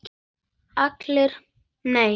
ALLIR: Nei!